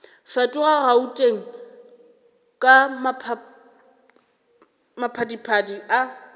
fetoga gauteng ka maphadiphadi a